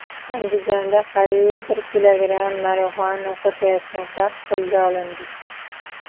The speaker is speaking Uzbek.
Andijonda qariyb bir kilogramm marixuana sotayotgan shaxs qo‘lga olindi.